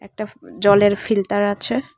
একটা জলের ফিল্তার আছে।